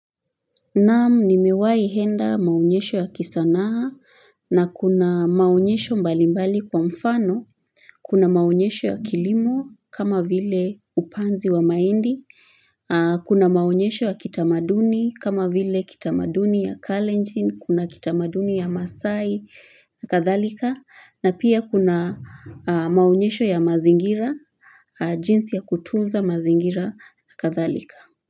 Naam nimewai enda maonyesho ya kisanaa na kuna maonyesho mbalimbali kwa mfano, kuna maonyesho ya kilimo kama vile upanzi wa mahindi, kuna maonyesho ya kitamaduni kama vile kitamaduni ya kalenjin, kuna kitamaduni ya masai na kadhalika na pia kuna maonyesho ya mazingira, jinsi ya kutunza mazingira na kadhalika.